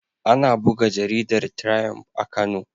Ana buga jaridar Triump a Kano.